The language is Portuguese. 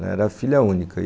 Ela era filha única.